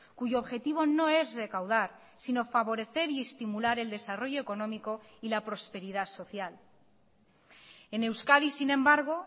cuyo objetivo no es recaudar sino favorecer y estimular el desarrollo económico y la prosperidad social en euskadi sin embargo